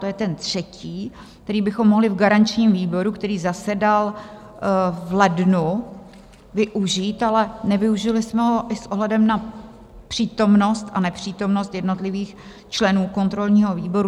To je ten třetí, který bychom mohli v garančním výboru, který zasedal v lednu, využít, ale nevyužili jsme ho i s ohledem na přítomnost a nepřítomnost jednotlivých členů kontrolního výboru.